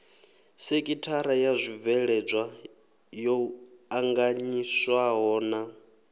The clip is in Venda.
sekithara ya zwibveledzwa yo anganyiswahona